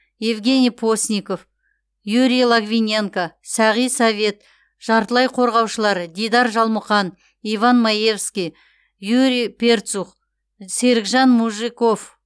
евгений постников юрий логвиненко сағи совет жартылай қорғаушылар дидар жалмұқан иван маевский юрий перцух серікжан мужиков